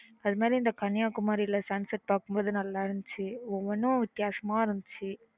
அது மாதிரி இந்த Kanyakumari sunset பாக்கும்போது நல்லா இருந்துச்சு ஒவ்வொண்ணும் வித்தியாசமா இருந்துச்சு